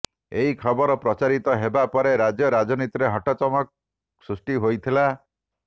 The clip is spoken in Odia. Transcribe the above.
ଏହି ଖବର ପ୍ରଚାରିତ ହେବା ପରେ ରାଜ୍ୟ ରାଜନୀତିରେ ହଟଚମଟ ସୃଷ୍ଟି ହୋଇଥିଲା